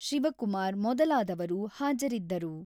ಶಿವಕುಮಾರ್ ಮೊದಲಾದವರು ಹಾಜರಿದ್ದರು.